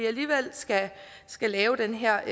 alligevel skal skal lave den her